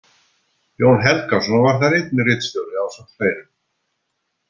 Jón Helgason var þar einnig ritstjóri, ásamt fleirum.